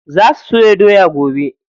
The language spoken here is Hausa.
Za su soya doya gobe.